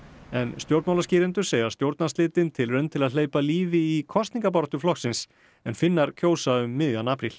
en stjórnmálaskýrendur segja stjórnarslitin tilraun til að hleypa lífi í kosningabaráttu flokksins en Finnar kjósa um miðjan apríl